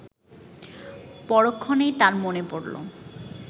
পরক্ষণেই তার মনে পড়ল